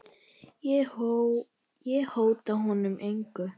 Ég hóta honum engu.